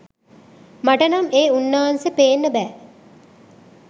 මට නම් ඒ උන්නාන්සෙ පේන්න බෑ.